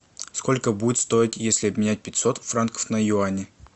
сколько будет стоить если обменять пятьсот франков на юани